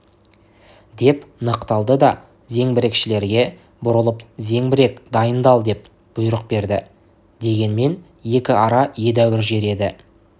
деп нықталды да зеңбірекшілерге бұрылып зеңбірек дайындал деп бұйрық берді дегенмен екі ара едәуір жер еді